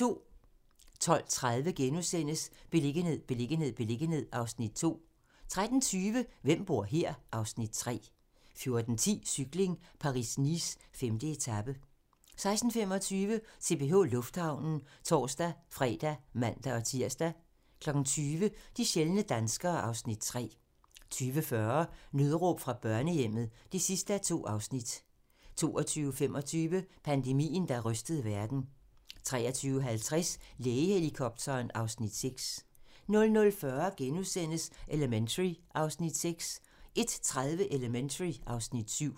12:30: Beliggenhed, beliggenhed, beliggenhed (Afs. 2)* 13:20: Hvem bor her? (Afs. 3) 14:10: Cykling: Paris-Nice - 5. etape 16:25: CPH Lufthavnen (tor-fre og man-tir) 20:00: De sjældne danskere (Afs. 3) 20:40: Nødråb fra børnehjemmet (2:2) 22:25: Pandemien, der rystede verden 23:50: Lægehelikopteren (Afs. 6) 00:40: Elementary (Afs. 6)* 01:30: Elementary (Afs. 7)